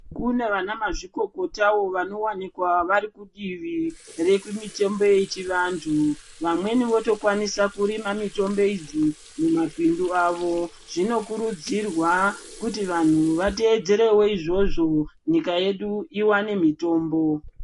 Kunevanamazvikokotawo vanowanika varikudivi rekumitombo yechivantu, vamweni votokwanisa kurima mitombo idzi muma bindu avo. Zvinokurudzirwa kuti vanhu vatevedzerewo izvozvo nyika yedu iwane mitombo.